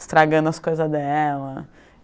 Estragando as coisas dela.